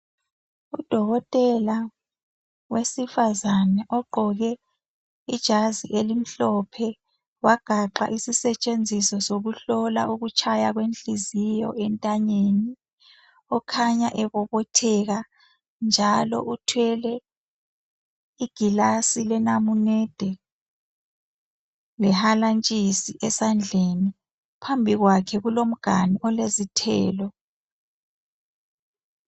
Udokotela wesifazane ogqoke ijazi elimhlophe wagaxa isisetshenziso sokuhlola ukutshaya kwenhliziyo entanyeni, okhanya ebobotheka njalo uthwele igilasi lenamunede lehalantshisi esandleni. Phambi kwakhe kulomganu olezithelo.